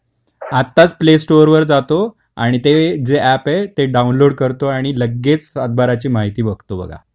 आत्ताच play store वर जातो आणि ते जे एप आहे ते डाउनलोड करतो आणि लगेच सातबाराची माहिती बघतो बघा.